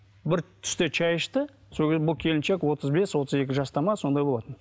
бір түсте шай ішті сол кезде бұл келіншек отыз бес отыз екі жаста ма сондай болатын